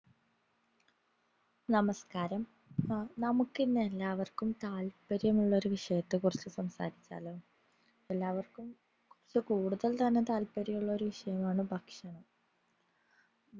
നമസ്‌കാരം നമുക്കിന്ന് എല്ലാവർക്കും താത്പര്യമുള്ളൊരു വിഷയത്തെ കുറിച്ചു സംസാരിച്ചാലോ എല്ലാവർക്കും കൊറച്ചു കൂടുതൽ തന്നെ താത്പര്യമുള്ളൊരു വിഷയമാണ് ഭക്ഷണം